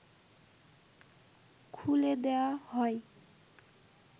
খুলে দেয়া হয়